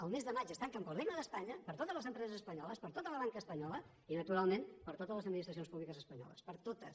el mes de maig es tanquen per al regne d’espanya per a totes les empreses espanyoles per a tota la banca espanyola i naturalment per a totes les administracions públiques espanyoles per a totes